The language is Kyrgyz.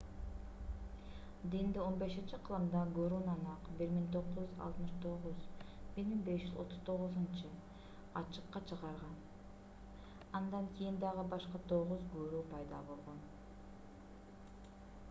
динди 15-кылымда гуру нанак 1469–1539 ачыкка чыгарган. андан кийин дагы башка тогуз гуру пайда болгон